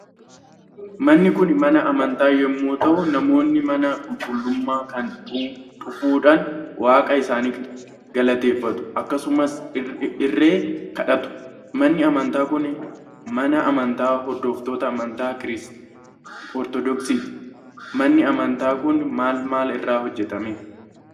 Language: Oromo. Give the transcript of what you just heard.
Manni Kun mana amantaa yommuu ta'u namoonni mana qulqullummaa kana dhufuufhaan waaqa isaanii galateeffatu akkasumas irree kadhatu. Manni amataa Kun mana amantaa hordoftoota antaa ortoodooksiiti. Manni amataa Kun maal maal irraa hojjetame?